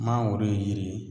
Mangoro ye yiri ye